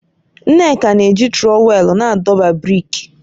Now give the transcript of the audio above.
Nneka na-eji trọwèlu na-adọba brik